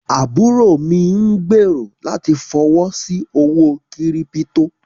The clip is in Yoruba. ábúró mí n gbẹ̀rọ̀ láti fọwọ́ sí owó kírípítò.